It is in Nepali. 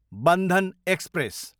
बन्धन एक्सप्रेस